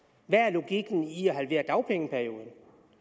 hvad er logikken i at halvere dagpengeperioden